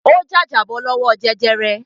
Ó jàjàbọ́ lọ́wọ́ jẹjẹrẹ.